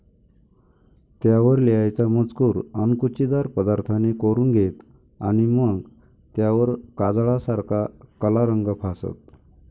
त्यावर लिहायचा मजकूर अणकुचीदार पदार्थाने कोरून घेत आणि मग त्यावर काजळासारखा कला रंग फासत.